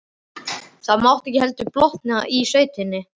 Mátti þá ekki heldur blotna í sveitinni!